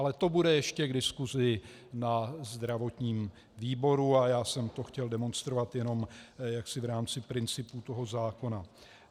Ale to bude ještě v diskusi na zdravotním výboru a já jsem to chtěl demonstrovat jenom jaksi v rámci principu toho zákona.